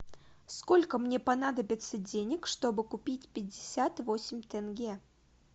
сколько мне понадобится денег чтобы купить пятьдесят восемь тенге